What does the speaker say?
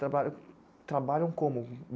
Trabalham, trabalham como?